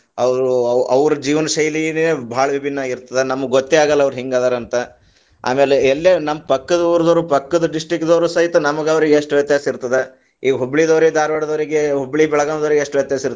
ಅವ್ರು ಅವ್ರ ಜೀವನ್ ಶೈಲಿನೇ ಭಾಳ ವಿಭಿನ್ನ ಆಗಿತ೯ದ, ನಮಗೆ ಗೊತ್ತೇ ಆಗಲ್ಲ ಅವರ್ ಹೆಂಗದಾರಂತ, ಆಮೇಲೆ ಎಲ್ಲೇ ನಮ್ ಪಕ್ಕದ ಊರದವರು ಪಕ್ಕದ district ದವರು ಸಹಿತ ನಮಗ ಅವರಿಗ ಎಷ್ಟು ವ್ಯತ್ಯಾಸ ಇರುತ್ತದ, ಈ ಹುಬ್ಬಳ್ಳಿದವರಿಗ ಧಾರವಾಡದವರಿಗ ಹುಬ್ಬಳ್ಳಿ ಬೆಳಗಾವಿದವರಿಗೆ ಎಷ್ಟು ವ್ಯತ್ಯಾಸ ಇರ್ತದೆ.